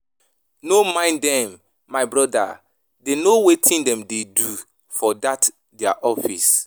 No mind dem my broda dey no wetin dem dey do for dat their office